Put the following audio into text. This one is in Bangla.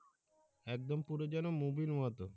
একদম পুরো যেন movie এর মতো।